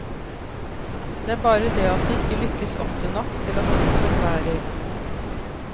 Det er bare det at det ikke lykkes ofte nok til at boken bærer.